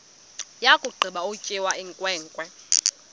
yakugqiba ukutya inkwenkwe